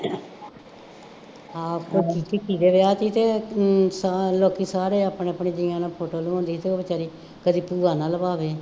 ਆਪ ਤਾਂ ਵਿਆਹ ਸੀ ਅਤੇ ਅਮ ਸਾਰੇ ਲੋਕੀ ਸਾਰੇ ਆਪਣੇ ਆਪਣੇ ਜੀਆਂ ਨਾਲ ਫੋਟੋ ਲਹਾਉਂਦੇ ਅਤੇ ਉਹ ਬੇਚਾਰੀ ਕਦੀ ਭੂਆ ਨਾਲ ਲਹਾਵੇ